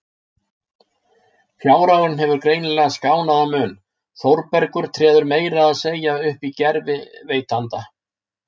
Fjárhagurinn hefur greinilega skánað að mun, Þórbergur treður meira að segja upp í gervi veitanda.